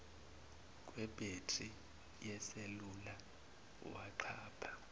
kwebhethri yeselula wanxapha